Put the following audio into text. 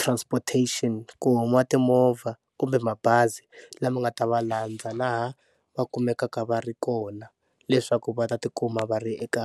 transportation, ku huma timovha kumbe mabazi lama nga ta va landza laha va kumekaka va ri kona leswaku va ta tikuma va ri eka.